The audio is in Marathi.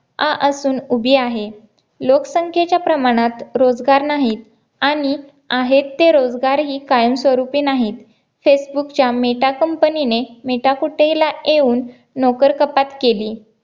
आ असून उभी आहे लोकसंख्येच्या प्रमाणात रोजगार नाहीत आणि आहेत ते रोजगार ही कायमस्वरूपी नाहीत फेसबुक च्या मेटा company ने मेटाकुटेला येऊन नोकर कपात केली